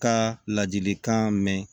Ka ladilikan mɛn